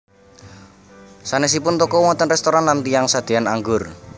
Sanèsipun toko wonten réstoran lan tiyang sadéan anggur